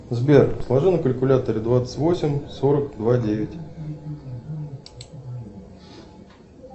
сбер сложи на калькуляторе двадцать восемь сорок два девять